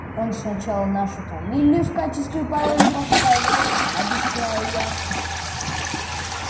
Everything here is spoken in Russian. он сначала нашу фамилию в качестве пароля поставил объясняю я